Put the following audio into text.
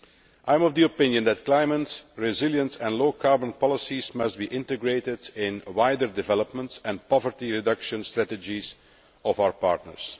I am of the opinion that climate resilience and low carbon policies must be integrated into wider developments and the poverty reduction strategies of our partners.